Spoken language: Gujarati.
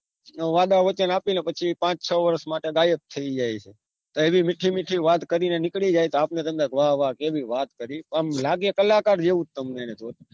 વાદા વચન આપીને પાંચ છ વર્ષ માટે ગાયબ થઇ જાયે છે એવી મીઠી મીઠી વાત કરીને નીકળી જાયે આપને તો બધા વાહ વાહ કેવી વાત કરી આમ લાગે કલાકાર જેવું જ તમને